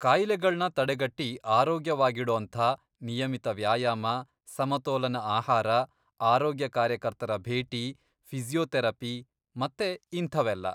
ಕಾಯಿಲೆಗಳ್ನ ತಡೆಗಟ್ಟಿ ಆರೋಗ್ಯವಾಗಿಡೋಂಥ ನಿಯಮಿತ ವ್ಯಾಯಾಮ, ಸಮತೋಲನ ಆಹಾರ, ಆರೋಗ್ಯ ಕಾರ್ಯಕರ್ತರ ಭೇಟಿ, ಫಿಸಿಯೋಥೆರಪಿ, ಮತ್ತೆ ಇಂಥವೆಲ್ಲ.